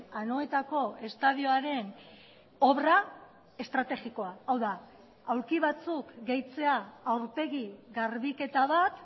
anoetako estadioaren obra estrategikoa hau da aulki batzuk gehitzea aurpegi garbiketa bat